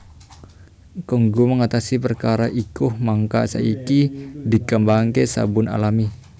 Kanggo ngatasi perkara iku mangka saiki dikembangaké sabun alami